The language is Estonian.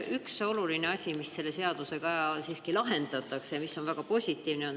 Üks oluline selle seadusega lahendatakse, mis on väga positiivne.